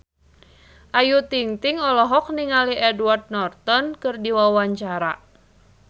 Ayu Ting-ting olohok ningali Edward Norton keur diwawancara